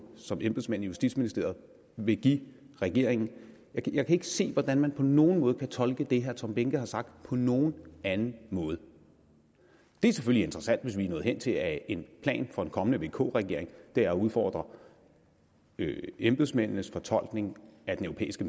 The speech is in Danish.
som embedsmænd i justitsministeriet vil give regeringen jeg kan ikke se hvordan man på nogen måde kan tolke det herre tom behnke har sagt på nogen anden måde det er selvfølgelig interessant hvis vi er nået hen til at en plan for en kommende vk regering er at udfordre embedsmændenes fortolkning af den europæiske